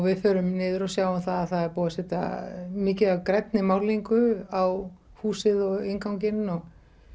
við förum niður og sjáum það að það er búið að setja mikið af grænni málningu á húsið og við innganginn og